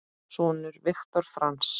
Sonur Viktor Franz.